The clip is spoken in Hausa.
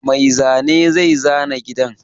Mai zane zai zana gidan.